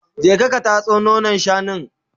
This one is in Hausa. je ka tatso nonon shanun!